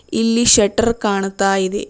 ಇಲ್ಲಿ ಶೆಟ್ಟರ್ ಕಾಣ್ತಾ ಇದೆ